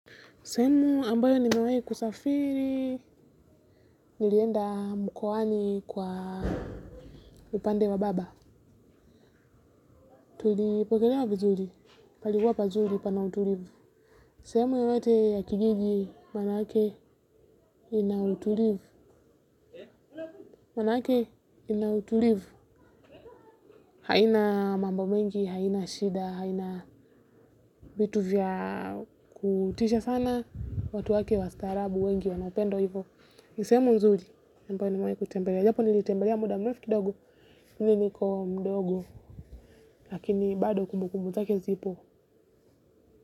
Sehemu ambayo nimewahi kusafiri, nilienda mkoani kwa upande wa baba. Tulipokelewa vizuri, palikuwa pazuri pana utulivu. Sehemu yoyote ya kijiji, maanake ina utulivu. Maanake ina utulivu. Haina mambo mengi, haina shida, haina vitu vya kutisha sana, watu wake wastaarabu wengi, wana upendo hivo. Ni sehemu nzuri ambayo nimewahi kuitembelea. Japo nilitembelea muda mrefu kidogo ni niko mdogo lakini bado kumbu kumbu zake zipo.